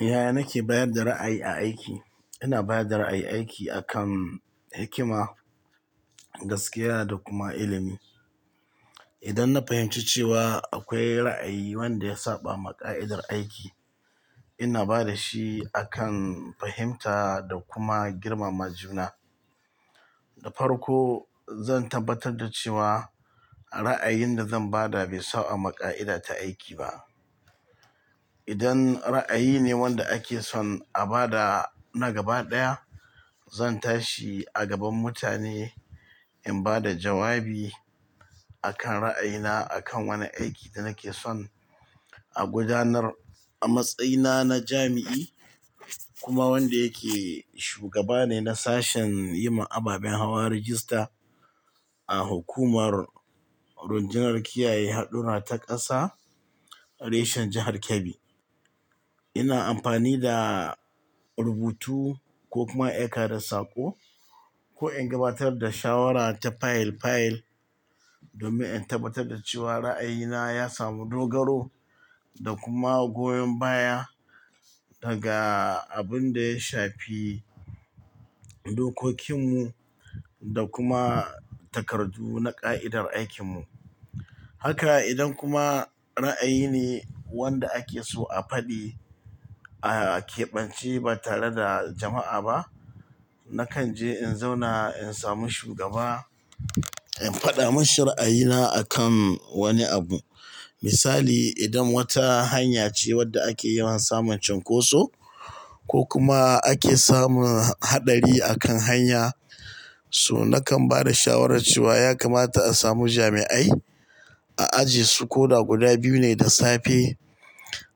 Ya, nake bayar da ra'ayi a aiki. Ina bayar da ra'ayi aiki akan hikima, gaskiya da kuma ilimi. Idan na fahimci cewa akwai ra'ayi wanda ya saba ma ka'idar aiki, ina ba da shi akan fahimta da kuma girmama juna. Da farko, zan tabbatar da cewa ra'ayin da zan ba da bai saba ma ka'ida ta aiki ba. Idan ra'ayi ne wanda ake son a ba da na gaba ɗaya, zan tashi a gaban mutane in ba da jawabi akan ra'ayina akan wani aiki da nake son a gudanar. A matsayina na jami'i kuma wanda yake shugaba ne na sashen yima ababen hawa rajista a hukumar rundunar kiyaye hadura ta ƙasa reshen jihar Kebbi. Ina amfani da rubutu ko kuma aika da saƙo ko in gabatar da shawara ta file file domin in tabbatar da cewa ra'ayina ya samu dogaro da kuma goyon baya daga abin da ya shafi dokokinmu da kuma takardu na ƙa'idar aikinmu. Haka idan kuma ra'ayi ne wanda ake so a faɗi a keɓance ba tare da jama'a ba, nakan je in zauna in sami shugaba in faɗa masa ra'ayina akan wani abu. Misali, idan wata hanya ce wadda ake yawan samun cunkoso ko kuma ake samun haɗari akan hanya so, nakan ba da shawara cewa ya kamata a samu jami'ai a ajiye su ko da guda biyu ne da safe,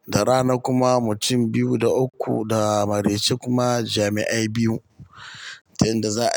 da rana kuma mutum biyu da uku da marece kuma jami'ai biyu. Inda za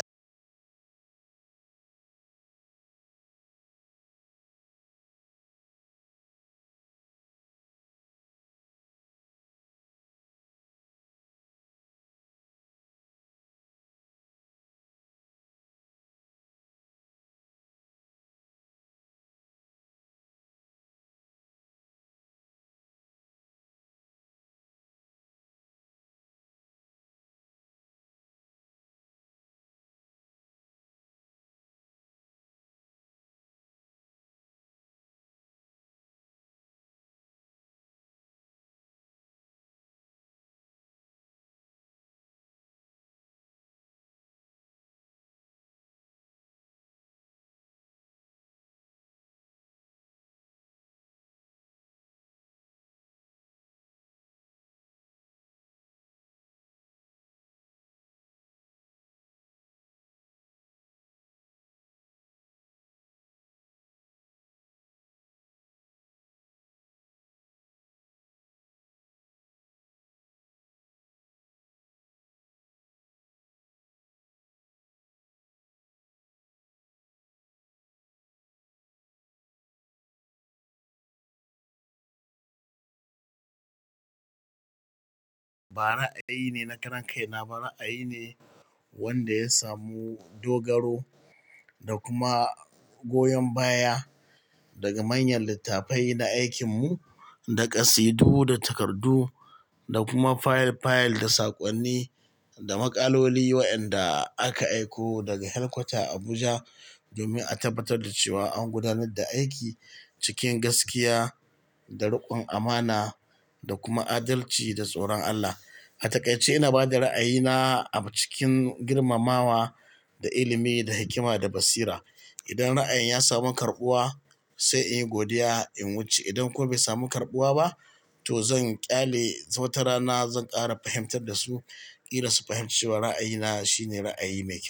a ba, ra'ayi ne na ƙaran kai. Na ba ra'ayi ne wanda ya samu dogaro da kuma goyon baya daga manyan littafai na aikinmu, da kasaidu da takardu da kuma file file da saƙonni da maƙaloli wa'anda aka aiko daga headquater Abuja domin a tabbatar da cewa an gudanar da aiki cikin gaskiya da riƙon amana da kuma adalci da tsoron Allah. A takaice, ina ba da ra'ayina a cikin girmamawa da ilimi, da hikima da basira. Idan ra'ayin ya samu karɓuwa, sai in yi godiya in wuce. Idan kuma bai samu karɓuwa ba, to zan ƙyale. Wata rana zan ƙara fahimtar da su kila su fahimci cewa ra'ayina shine ra'ayi mai kyau.